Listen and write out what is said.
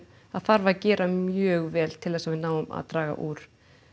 það þarf að gera mjög vel til þess að við náum að draga úr